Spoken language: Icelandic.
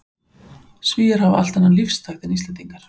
Svíar hafa allt annan lífstakt en Íslendingar.